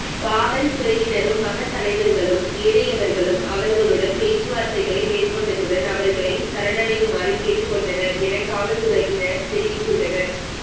காவல்துறையினரும் மதத்தலைவர்களும் ஏனையவர்களும் அவர்களுடன் பேச்சுவார்த்தைகளை மேற்கொண்டதுடன் அவர்களை சரணடையுமாறு கேட்டுக்கொண்டனர் என காவல்துறையினர் தெரிவித்துள்ளனர்